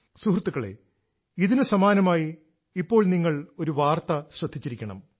സുഹൃത്തുക്കളേ ഇതിനു സമാനമായി ഇപ്പോൾ നിങ്ങൾ ഒരു വാർത്ത ശ്രദ്ധിച്ചിരിക്കണം